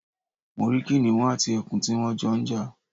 Mo rí kìnìún àti ẹkùn tí wón Jo n jà